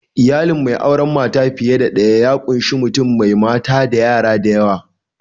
Iyalin mai auren mata fiye da daya ya ƙunshi mutum mai mata da yara da yawa.